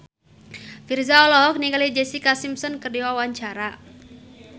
Virzha olohok ningali Jessica Simpson keur diwawancara